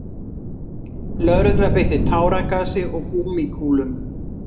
Lögregla beitti táragasi og gúmmíkúlum